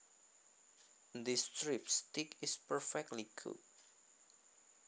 This strip steak is perfectly cooked